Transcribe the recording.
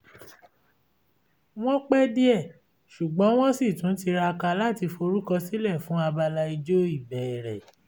wọ́n pẹ́ dé ṣùgbọ́n wọ́n sì tún tiraka láti forúkọ sílẹ̀ fún abala ijó ìbẹ̀rẹ̀